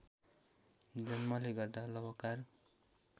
जन्मले गर्दा कलवार